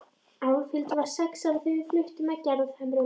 Álfhildur var sex ára þegar við fluttum að Gerðhömrum.